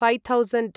five thousand